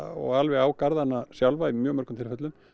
og alveg á garðana sjálfa í mjög mörgum tilfellum